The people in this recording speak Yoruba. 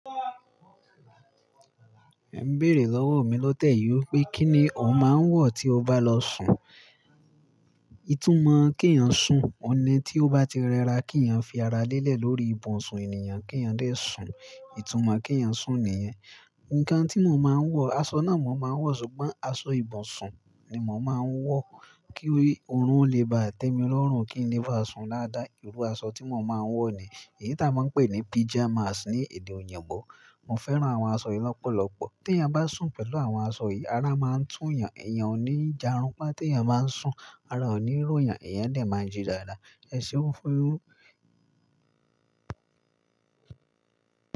Ẹ n béèrè lọ́wọ́ mi lótẹ̀ yí pé kí ni òun máa ń wọ̀ tí o bá lọ sùn. Ìtúmọ̀ kí èèyàn sùn, ọ̀hun ni tí ó bá ti rẹra kí èèyàn fi ara lélẹ̀ lórí ibùsùn ènìyàn kí èèyàn dè sùn, ìtúmọ̀ kí èèyàn sùn nìyẹn. Ǹkan tí mo máa ń wọ, aṣọ náà mo máa ń wọ̀ ṣùgbọ́n aṣọ ìbùsùn ni mò ń máa wọ̀ kí orun lè ba tẹ́mi lọ́rùn, kí n lè bá sùn dáàdáà. Irú aṣọ tí mo máa ń wọ̀ ni èyí tí a máa ń pè ní pajamas ní èdè òyìnbó. Mo fẹ́ran àwọn aṣọ yìí lọ́pọ̀lọpọ̀. Tí èèyàn bá sùn pẹ̀lú àwọn aṣọ yìí, ara máa ń túù yàn, èèyàn ò ní járunpá. Tí èèyàn bá ń sùn, ara ò ní ró yàn, èèyàn lè máa ń jí dáradára. Ẹ ṣe ó fẹ́ró?